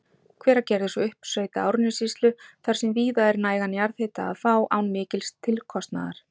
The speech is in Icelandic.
Hveragerðis og uppsveita Árnessýslu þar sem víða er nægan jarðhita að fá án mikils tilkostnaðar.